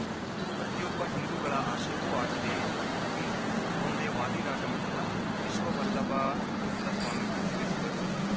ಇದು ಪ್ರತಿಯೊಬ್ಬ ಹಿಂದೂಗಳ ಆಶಯವೂ ಆಗಿದೆ ಎಂದು ಉಡುಪಿ ಸೋಂದೆ ವಾದಿರಾಜ ಮಠದ ವಿಶ್ವವಲ್ಲಭತೀರ್ಥ ಸ್ವಾಮೀಜಿ ತಿಳಿಸಿದರು